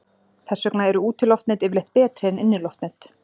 Þess vegna eru útiloftnet yfirleitt betri en inniloftnet.